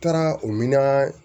Taara o mina